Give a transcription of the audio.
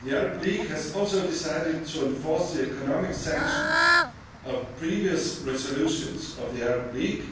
The Arab League has also decided to enforce the economic sanctions of previous resolutions of the Arab League